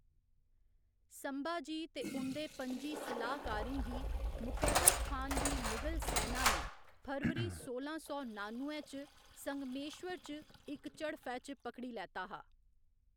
संभाजी ते उं'दे पं'जी सलाहकारें गी मुकर्रब खान दी मुगल सैना ने फरवरी सोलां सौ नानुए च संगमेश्वर च इक झड़प्फै च पकड़ी लैता हा।